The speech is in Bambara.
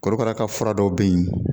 Korokara ka fura dɔw be yen